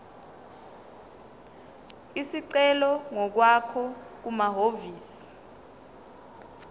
isicelo ngokwakho kumahhovisi